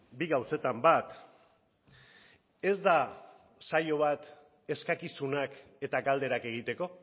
bi gauzetan bat ez da saio bat eskakizunak eta galderak egiteko